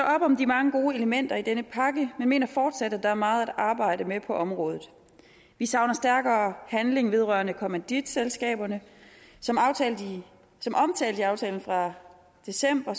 op om de mange gode elementer i denne pakke men mener fortsat at der er meget at arbejde med på området vi savner stærkere handling vedrørende kommanditselskaberne som omtalt i aftalen fra december